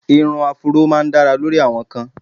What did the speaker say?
Ìrun áfúró máá ń dára lórí àwọn kan